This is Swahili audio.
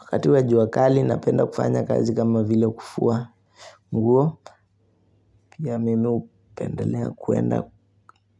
Wakati wa jua kali napenda kufanya kazi kama vile kufua nguo. Pia mimi hupendelea kuenda